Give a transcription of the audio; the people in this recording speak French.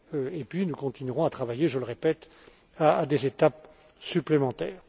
Et puis, nous continuerons à travailler, je le répète, à des étapes supplémentaires.